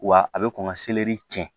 Wa a bɛ kɔn ka tiɲɛ